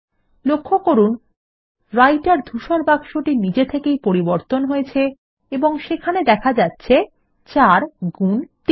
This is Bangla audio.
লক্ষ্য করুন রাইটের ধূসর বাক্সটি নিজে থেকেই পরিবর্তন হয়েছে এবং সেখানে দেখা যাচ্ছে ৪ গুন ৩